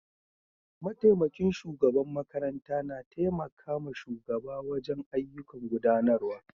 Mataimakin shugaban makaranta na taimaka ma shugaba wajen ayyukan gudanarwa